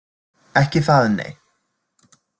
Ekki það nei.